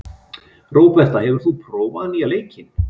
Róberta, hefur þú prófað nýja leikinn?